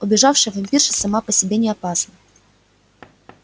убежавшая вампирша сама по себе не опасна